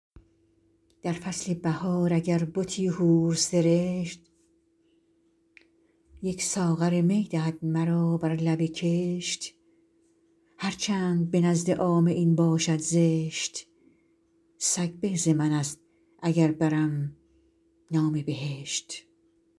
در فصل بهار اگر بتی حور سرشت یک ساغر می دهد مرا بر لب کشت هر چند به نزد عامه این باشد زشت سگ به ز من است اگر برم نام بهشت